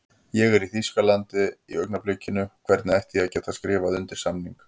Ég er í Þýskalandi í augnablikinu, hvernig ætti ég að geta skrifað undir samning?